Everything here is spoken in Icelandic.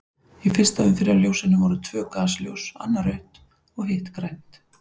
Í fyrsta umferðarljósinu voru tvö gasljós, annað rautt og hitt grænt.